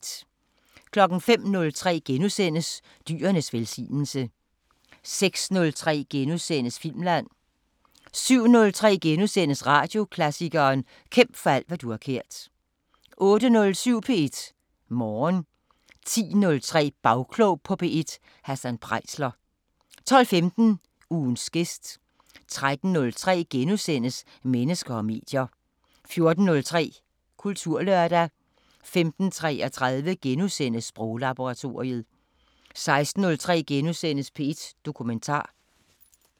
05:03: Dyrenes velsignelse * 06:03: Filmland * 07:03: Radioklassikeren: Kæmp for alt hvad du har kært * 08:07: P1 Morgen 10:03: Bagklog på P1: Hassan Preisler 12:15: Ugens gæst 13:03: Mennesker og medier * 14:03: Kulturlørdag 15:33: Sproglaboratoriet * 16:03: P1 Dokumentar *